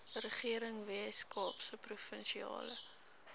regering weskaapse provinsiale